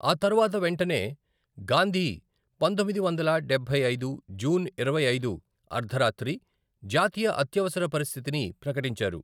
ఆ తర్వాత వెంటనే, గాంధీ పంతొమ్మిది వందల డబ్బై ఐదు జూన్ ఇరవై ఐదు అర్ధరాత్రి జాతీయ అత్యవసర పరిస్థితిని ప్రకటించారు.